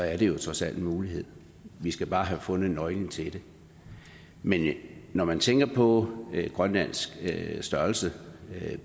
er det trods alt en mulighed vi skal bare have fundet nøglen til det men når man tænker på grønlands størrelse